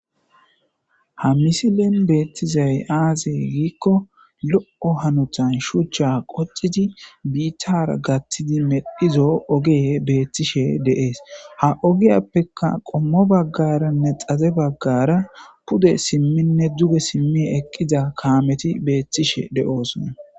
Ha misilen beettizay aazee giikko lo7o hanuthan shuchcha qocidi biittara gathtidi medhizo oge beettishe deees ha ogiyappeka qommo baggaranne xaze baggara pude simminne duge simmi eqqida kaameti beettishe de7oosona